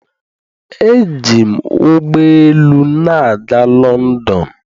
eji m ụgbọ elu na-aga London.